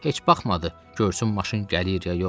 Heç baxmadı, görsün maşın gəlir ya yox.